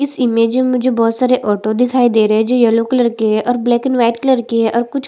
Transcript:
इस इमेज में मुझे बहुत सारे ऑटो दिखाई दे रहे है जो येलो कलर के है और ब्लैक एंड व्हाइट कलर है और कुछ--